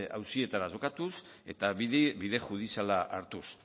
auzietara jokatuz eta bide judiziala hartuz